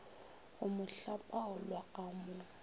go mo hlapaola a mo